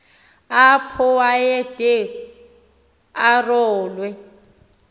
apho wayede arolwe